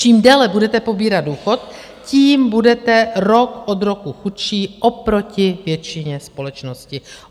Čím déle budete pobírat důchod, tím budete rok od roku chudší oproti většině společnosti.